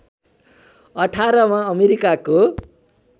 १८ मा अमेरिकाको